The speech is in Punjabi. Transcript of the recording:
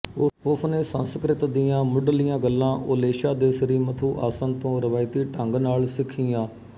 ਉਸਨੇ ਸੰਸਕ੍ਰਿਤ ਦੀਆਂ ਮੁਢਲੀਆਂ ਗੱਲਾਂ ਓਲੇਸ਼ਾ ਦੇ ਸ੍ਰੀ ਮਥੂ ਆਸਨ ਤੋਂ ਰਵਾਇਤੀ ਢੰਗ ਨਾਲ ਸਿੱਖੀਆਂ